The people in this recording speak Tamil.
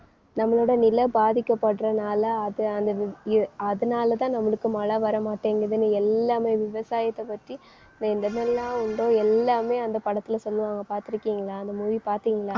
நம்மளோட நில பாதிக்கப்படுறனால அது அந்த விவ்~ இரூ~ அதனாலதான் நம்மளுக்கு மழை வரமாட்டேங்குதுன்னு எல்லாமே விவசாயத்தை பத்தி நான் என்னென்னெல்லாம் உண்டோ எல்லாமே அந்த படத்துல சொல்லுவாங்க பார்த்திருக்கீங்களா அந்த movie பார்த்தீங்களா